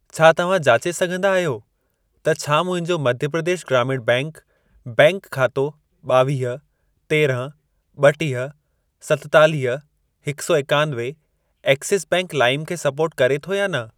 छा तव्हां जाचे सघंदा आहियो त छा मुंहिंजो मध्य प्रदेश ग्रामीण बैंक बैंक खातो ॿावीह, तेरंह, ॿटीह, सतेतालीह, हिकु सौ ऐकानवे एक्सिस बैंक लाइम खे सपोर्ट करे थो या न?